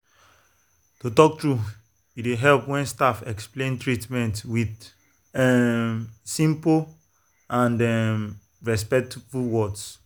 to talk true e dey help when staff explain treatment with um simple and um respectful words.